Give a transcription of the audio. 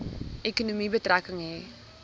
ekonomie betrekking hê